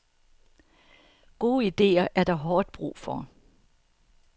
Gode idéer er der hårdt brug for.